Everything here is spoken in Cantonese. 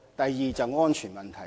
第二是安全問題。